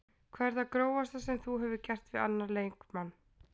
Hvað er það grófasta sem þú hefur gert við annan leikmann?